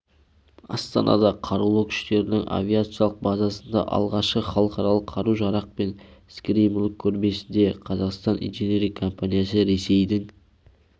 астанада қарулы күштерінің авиациялық базасында ашылған халықаралық қару-жарақ пен скери мүлік көрмесінде қазақітан инжиниринг компаниясы ресейдің